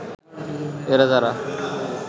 এ রাজারা